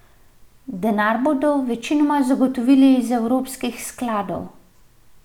Denar bodo večinoma zagotovili iz evropskih skladov.